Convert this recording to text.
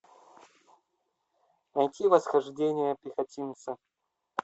найти восхождение пехотинца